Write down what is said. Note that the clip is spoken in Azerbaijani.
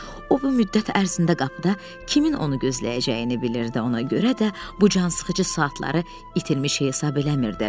O bu müddət ərzində qapıda kimin onu gözləyəcəyini bilirdi, ona görə də bu cansıxıcı saatları itirilmiş hesab eləmirdi.